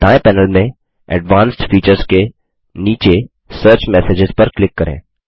दाएँ पैनल में advanced features के नीचे सर्च मेसेजेज पर क्लिक करें